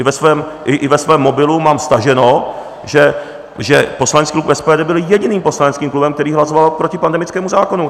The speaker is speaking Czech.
I ve svém mobilu mám staženo, že poslanecký klub SPD byl jediným poslaneckým klubem, který hlasoval proti pandemickému zákonu.